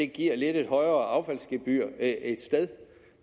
giver et lidt højere affaldsgebyr